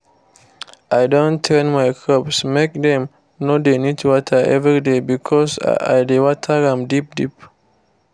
i don train my crops make dem no dey need water everyday because i dey water am deep deep